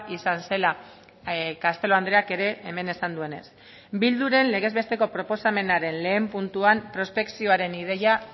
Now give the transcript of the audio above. izan zela castelo andreak ere hemen esan duenez bilduren legez besteko proposamenaren lehen puntuan prospekzioaren ideia